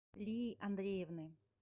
лии андреевны